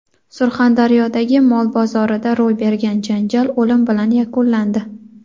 Surxondaryodagi mol bozorida ro‘y bergan janjal o‘lim bilan yakunlandi.